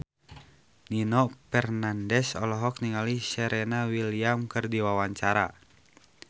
Nino Fernandez olohok ningali Serena Williams keur diwawancara